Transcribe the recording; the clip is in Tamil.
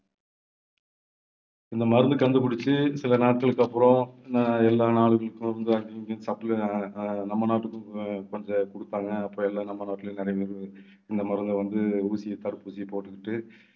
இந்த மருந்து கண்டுபிடிச்சு சில நாட்களுக்கு அப்புறம் அஹ் எல்லா நாடுகளுக்கும் வந்து supply நம்ம நாட்டுக்கும் கொஞ்சம் கொடுத்தாங்க. அப்ப எல்லாம் நம்ம நாட்டுல நிறைய பேரு இந்த மருந்தை வந்து ஊசியை தடுப்பூசியை போட்டுக்கிட்டு